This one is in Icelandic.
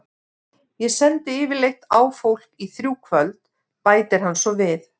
Ég sendi yfirleitt á fólk í þrjú kvöld, bætir hann svo við.